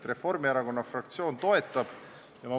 Reformierakonna fraktsioon toetab seda.